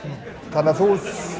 þannig þú